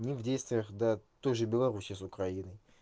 не в действиях да той же белоруссии с украиной